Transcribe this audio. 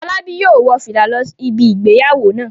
Fọlábí yóò wọ fìlà lọ ibi ìgbéyàwó náà.